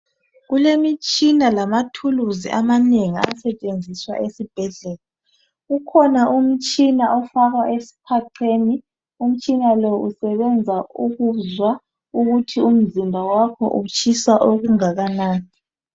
Kulemitshina lamathuluzi amanengi asetshenziswa esibhedlela, kukhona umtshina ofakwa esiphaqeni, umtshina lo usebenza ukuzwa ukuthi umzimba wakho utshisa okungakanani